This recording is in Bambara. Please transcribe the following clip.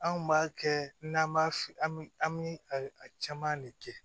An kun b'a kɛ n'an b'a an bi a caman de kɛ